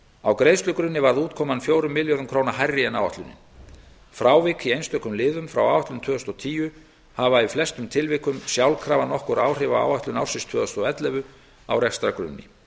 á greiðslugrunni varð útkoman fjórum milljörðum króna hærri en áætlunin frávik í einstökum liðum frá áætlun tvö þúsund og tíu hafa í flestum tilvikum sjálfkrafa nokkur áhrif á áætlun ársins tvö þúsund og ellefu á rekstrargrunni